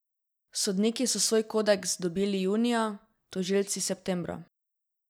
Sodniki so svoj kodeks dobili junija, tožilci septembra.